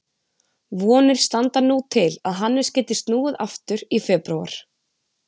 Vonir standa nú til að Hannes geti snúið aftur í febrúar.